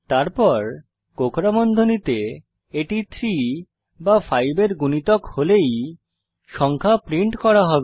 তারপর কোঁকড়া বন্ধনীতে এটি 3 বা 5 এর গুণিতক হলেই সংখ্যা প্রিন্ট করা হবে